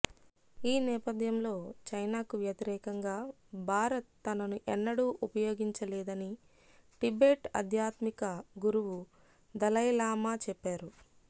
ఈ నేపథ్యంలో చైనాకు వ్యతిరేకంగా భారత్ తనను ఎన్నడూ ఉపయోగించలేదని టిబెట్ ఆధ్యాత్మిక గురువు దలైలామా చెప్పారు